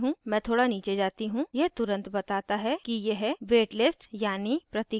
मैं थोड़ा नीचे जाती हूँ यह तुरन्त बताता है कि यह wait listed यानी प्रतीक्षा सूची में है